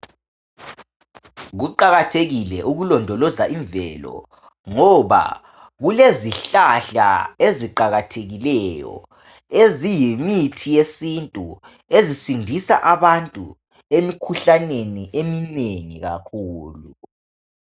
Kuqakathekile ukulondoloza imvelo ngoba kulezihlahla eziqakathekileyo eziyimithi yesintu ezisindisa abantu emikhuhlaneni eminengi kakhulu.